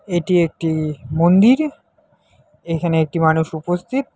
এটি একটি মন্দির এইখানে একটি মানুষ উপস্থিত।